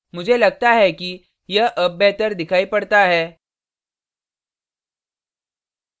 मुझे लगता है कि यह अब बेहतर दिखाई पड़ता है